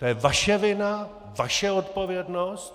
To je vaše vina, vaše odpovědnost!